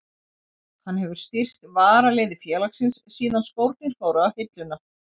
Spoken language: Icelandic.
Hann hefur stýrt varaliði félagsins síðan skórnir fóru á hilluna.